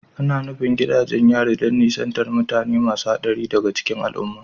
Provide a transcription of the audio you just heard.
Ana nufin gidajen yari don nisantar da mutane masu haɗari daga cikin al'umma